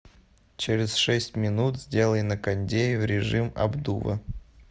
через шесть минут сделай на кондее в режим обдува